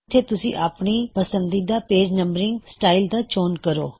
ਇੱਥੇ ਤੁਸੀਂ ਆਪਣੀ ਪਸੰਦੀਦਾ ਪੇਜ ਨੰਬਰਿੰਗ ਸਟਾਇਲ ਦਾ ਚੋਣ ਕਰੋ